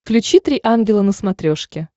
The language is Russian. включи три ангела на смотрешке